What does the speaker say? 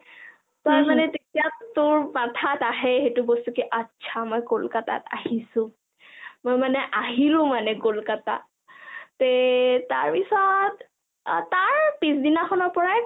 তই মানে তেতিয়া উম তোৰ মানে মাথাত আহে সেইটো বস্তু atchaমই কলকতাত আহিছো মই মানে কলকতাত আহিলো মানে কলকতাত তে তাৰপিছত তাৰপিছ দিনাখনৰপৰাই